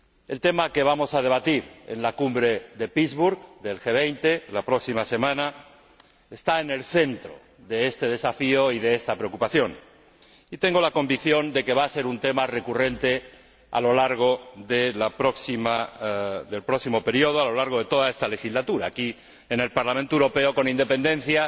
El tema que vamos a debatir en la Cumbre de Pittsburg del G 20 la próxima semana, está en el centro de este desafío y de esta preocupación, y tengo la convicción de que va a ser un tema recurrente a lo largo del próximo período, a lo largo de toda esta legislatura, aquí en el Parlamento Europeo, con independencia